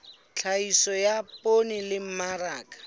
tlhahiso ya poone le mmaraka